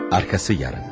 Arkası yarın.